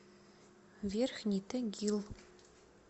верхний тагил